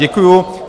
Děkuju.